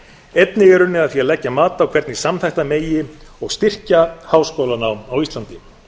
einnig er unnið er að því að leggja mat á hvernig samþætta megi og styrkja háskólanám á íslandi